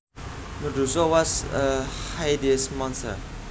Medusa was a hideous monster